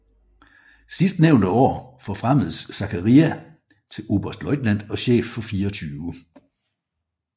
Sidstnævnte år forfremmedes Zachariae til oberstløjtnant og chef for 24